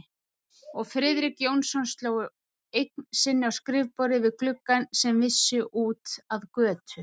Og Friðrik Jónsson sló eign sinni á skrifborðið við gluggann sem vissi út að götu.